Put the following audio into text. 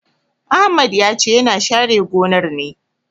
Ahmad sai he is clearing the farm.